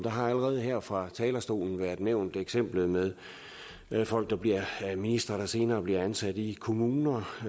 har allerede her fra talerstolen været nævnt eksemplet med folk der bliver ministre der senere bliver ansat i kommuner og